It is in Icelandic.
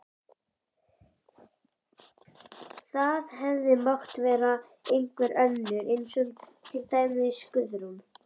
Það hefði mátt vera einhver önnur, til dæmis Guðrún.